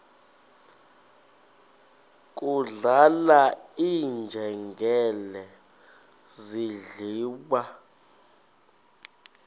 kudlala iinjengele zidliwa